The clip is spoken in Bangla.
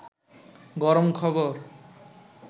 গরম খবর